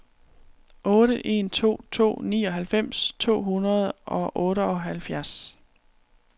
otte en to to nioghalvfems to hundrede og otteoghalvfjerds